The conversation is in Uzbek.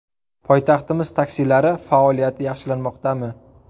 Poytaxtimiz taksilari faoliyati yaxshilanmoqda...mi?.